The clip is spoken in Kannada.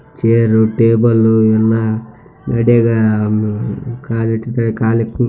ಚೇರ್‌ ಟೇಬಲ್‌ ಎಲ್ಲಾ ನಡ್ಯಗ .]